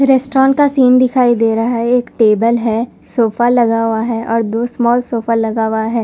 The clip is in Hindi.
रेस्टोरेंट का सीन दिखाई दे रहा है एक टेबल है सोफा लगा हुआ है और दो स्मॉल सोफा लगा हुआ है।